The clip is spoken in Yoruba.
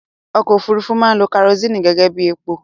Ọkọ òfúrufú máa ń lo kerosini gẹ́gẹ́bí epo